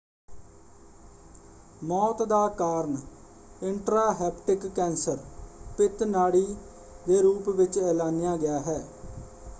ਮੌਤ ਦਾ ਕਾਰਨ ਇੰਟ੍ਰਾਂਹੇਪੇਟਿਕ ਕੈਂਸਰ ਪਿਤ ਨਾੜੀ ਦੇ ਰੂਪ ਵਿੱਚ ਐਲਾਨਿਆ ਗਿਆ ਹੈ।